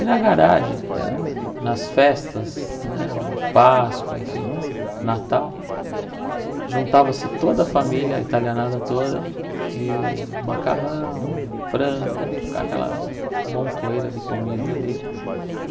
E na garagem ah, nas festas, né na Páscoa, enfim, Natal, juntava-se toda a família italianada toda, e macarrão, frango, aquela montoeira de comida ali.